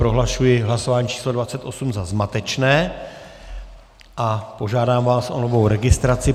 Prohlašuji hlasování číslo 28 za zmatečné a požádám vás o novou registraci.